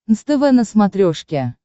нств на смотрешке